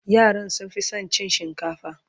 yaran sun Fi San cin shinkafa